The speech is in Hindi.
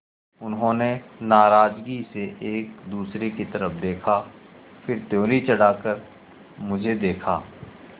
उन्होंने नाराज़गी से एक दूसरे की तरफ़ देखा फिर त्योरी चढ़ाकर मुझे देखा